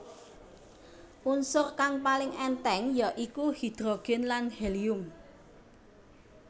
Unsur kang paling èntheng ya iku hidrogen lan helium